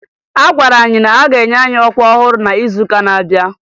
A gwara anyị na-aga enye anyị ọkwa ọhụrụ n'izuụka na-abịa